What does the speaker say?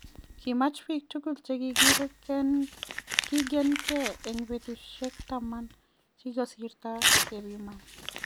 Kimaach biik tugul chegirikigen en betusiek taman chekigosirto gepiman.